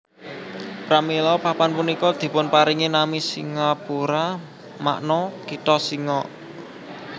Pramila papan punika dipunparingi nami Singapura makna kitha singa